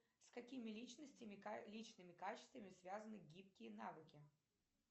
с какими личностями личными качествами связаны гибкие навыки